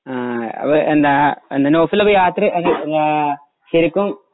ആ അപ്പൊ എന്താ നൗഫൽ ആപ്പോൾ യാത്ര ആ ശരിക്കും